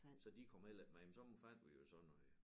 Så de kom heller ikke med men så fandt vi jo så nogle